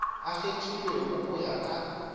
a kgethilwego go ya ka